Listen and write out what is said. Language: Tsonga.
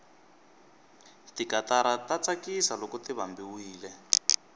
tikatara ta tsakisa loko ti vambiwile